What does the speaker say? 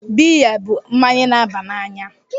Biya bụ mmanya na-aba n'anya.